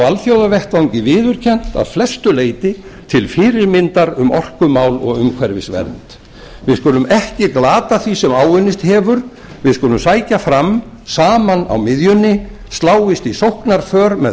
alþjóðavettvangi viðurkennt að flestu leyti til fyrirmyndar um orkumál og umhverfisvernd við skulum ekki glata því sem áunnist hafur við skulum sækja fram saman á miðjunni sláist í sóknarför með